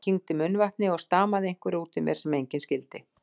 Ég kyngdi munnvatni og stamaði einhverju útúr mér sem enginn skildi.